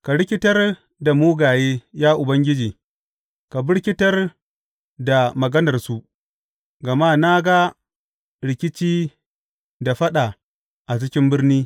Ka rikitar da mugaye, ya Ubangiji, ka birkitar da maganarsu, gama na ga rikici da faɗa a cikin birni.